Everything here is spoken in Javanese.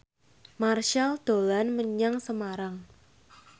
Marchell dolan menyang Semarang